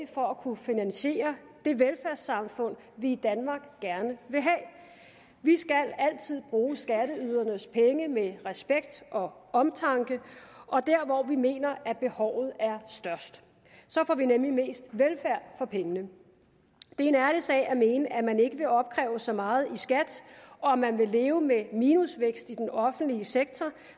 for at kunne finansiere det velfærdssamfund vi i danmark gerne vil have vi skal altid bruge skatteydernes penge med respekt og omtanke og der hvor vi mener at behovet er størst så får vi nemlig mest velfærd for pengene det er en ærlig sag at mene at man ikke vil opkræve så meget i skat og at man vil leve med minusvækst i den offentlige sektor